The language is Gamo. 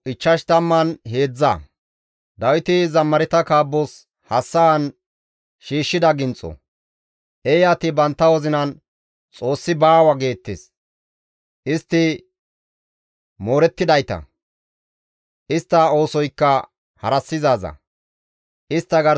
Eeyati bantta wozinan, «Xoossi baawa» geettes; istti moorettidayta; istta oosoykka harassizaaza; istta garsafe lo7o ooththizay deenna.